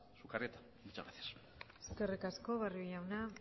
sukarrieta muchas gracias eskerrik asko barrio jauna